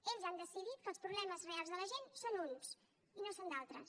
ells han decidit que els problemes reals de la gent són uns i no són d’altres